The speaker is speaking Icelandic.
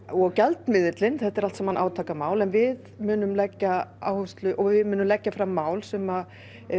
og gjaldmiðillinn þetta er allt saman átakamál en við munum leggja áherslu og við munum leggja fram mál sem